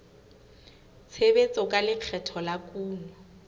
tshebetso tsa lekgetho la kuno